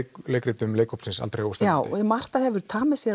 leikritum leikhópsins já Marta hefur tamið sér